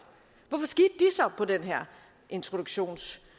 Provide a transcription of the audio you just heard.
på den her introduktionsydelse